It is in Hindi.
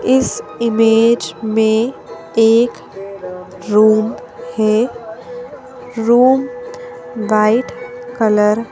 इस इमेज में एक रूम है रूम वाइट कलर --